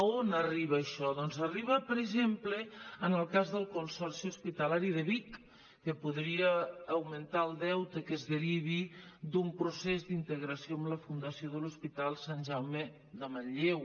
on arriba això doncs arriba per exemple en el cas del consorci hospitalari de vic que podria augmentar el deute que es derivi d’un procés d’integració amb la fundació de l’hospital sant jaume de manlleu